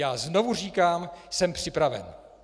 Já znovu říkám: Jsem připraven!